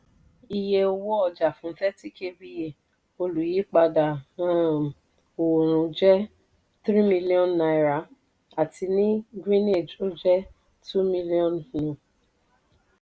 iye owó ọjà fún thirty kva olùyípadà um òòrùn jẹ́ three million naira àti ní greenage ó jẹ́ two. miliọ̀nù.